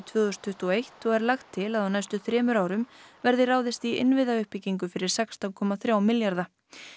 tvö þúsund tuttugu og eitt og er lagt til að á næstu þremur árum verði ráðist í innviðauppbyggingu fyrir sextán komma þrjá milljarða